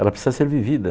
Ela precisa ser vivida.